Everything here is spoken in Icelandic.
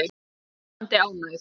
Hún er ljómandi ánægð.